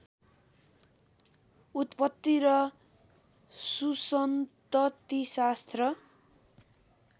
उत्पत्ति र सुसन्ततिशास्त्र